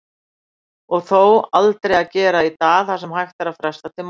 Og þó, aldrei að gera í dag það sem hægt er að fresta til morguns.